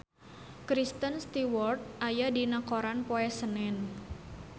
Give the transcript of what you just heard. Kristen Stewart aya dina koran poe Senen